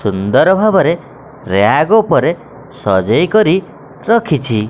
ସୁନ୍ଦର ଭାବରେ ରାକ୍ ଓପରେ ସସଜେଇ କରି ରଖିଛି।